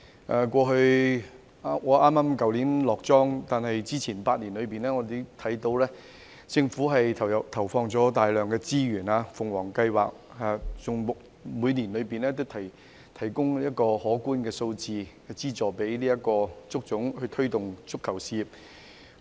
我在去年離任，但之前8年，我看到政府投放大量資源，例如，政府就足總的"鳳凰計劃"，每年提供可觀的資助，推動足球事業。